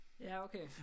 Ja okay